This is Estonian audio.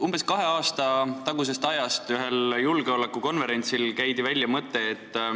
Umbes kaks aastat tagasi käidi ühel julgeolekukonverentsil välja selline mõte.